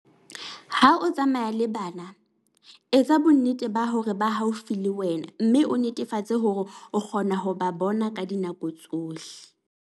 Ha o tsamaya le bana, etsa bonnete ba hore ba haufi le wena mme o netefatse hore o kgona ho ba bona ka dinako tsohle.